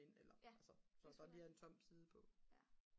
ind eller altså så der bare lige er en tom side på